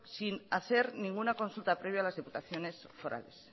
sin hacer ninguna consulta previa a las diputaciones forales